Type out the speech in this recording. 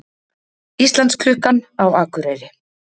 Íslandsklukkan á Akureyri